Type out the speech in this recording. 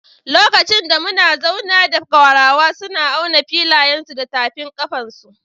Lokacin da muna zauna da Gwarawa, suna auna filayensu su da tafin kafansu.